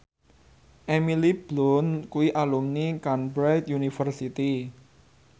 Emily Blunt kuwi alumni Cambridge University